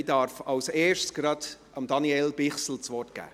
Ich darf zuerst Daniel Bichsel das Wort geben.